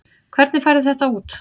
Hvernig færðu þetta út?